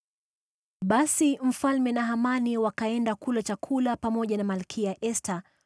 Basi mfalme na Hamani wakaenda kula chakula pamoja na Malkia Esta.